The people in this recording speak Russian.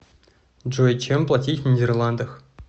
джой чем платить в нидерландах